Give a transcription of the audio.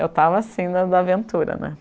Eu estava, assim, na na aventura, né?